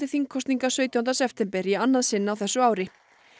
þingkosninga sautjánda september í annað sinn á þessu ári